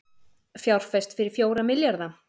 Fjárfest fyrir fjóra milljarða